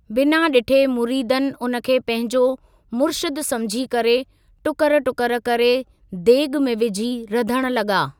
बिना डि॒ठे मुरीदनि उन खे पंहिंजो मुर्शिदु समुझी करे टुकर टुकर करे देगि॒ में विझी रधण लगा।